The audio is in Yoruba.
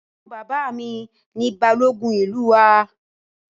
Ẹ̀gbọ́n bàbá mi ni Balógun ìlú wa